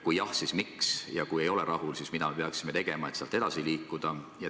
Kui jah, siis miks, ja kui me ei ole rahul, siis mida peaksime tegema, et sealt edasi liikuda?